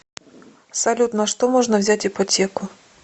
салют на что можно взять ипотеку